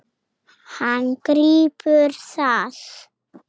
Hann grípur það.